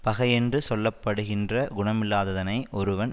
பகை யென்று சொல்ல படுகின்ற குணமில்லாததனை ஒருவன்